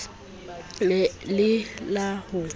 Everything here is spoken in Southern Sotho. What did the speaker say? ne e le la ho